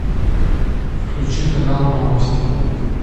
включи канал новости